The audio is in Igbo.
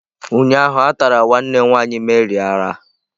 Ụnyahụ a tara nwanne nwanyị Mary ara.